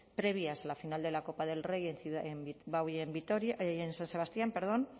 previas a la final de la copa del rey en bilbao y en san sebastián